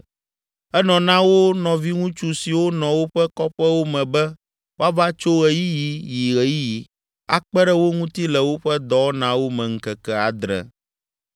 Enɔ na wo nɔviŋutsu siwo nɔ woƒe kɔƒewo me be woava tso ɣeyiɣi yi ɣeyiɣi akpe ɖe wo ŋuti le woƒe dɔwɔnawo me ŋkeke adre.